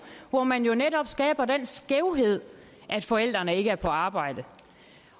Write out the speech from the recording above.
hvor man jo netop skaber den skævhed ved at forældrene ikke er på arbejde